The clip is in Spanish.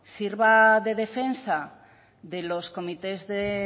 sirva de defensa de los comités de